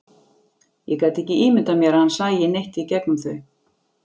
Ég gat ekki ímyndað mér að hann sæi neitt í gegnum þau.